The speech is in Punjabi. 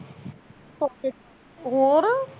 ਹੋਰ